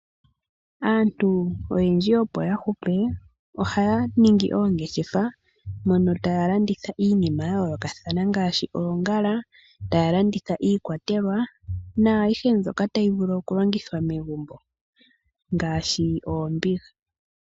Aantu oyendji opo ya hupe ohaya ningi oongeshefa. Mono taya landitha iinima ya yoolokathana ngaashi; oongala, taya landitha iikwatelwa naayihe mbyoka tayi vulu okulongithwa megumbo ngaashi oombiga.